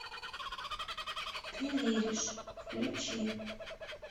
ты веришь включи